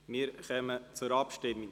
Wir kommen zur Abstimmung.